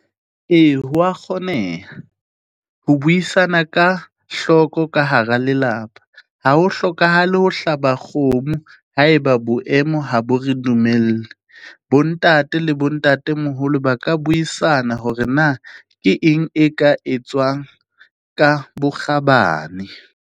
Ee, ho wa kgoneha, ho buisana ka hloko ka hara lelapa. Ha ho hlokahale ho hlaba kgomo, ha e ba boemo ha bo re dumelle. Bo ntate le bo ntatemoholo ba ka buisana hore na, ke eng e ka etswang ka bokgabane?